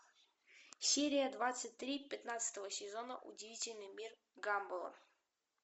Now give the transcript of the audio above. серия двадцать три пятнадцатого сезона удивительный мир гамбола